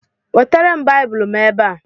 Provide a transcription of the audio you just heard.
Wetere m Baịbụl m ebe a!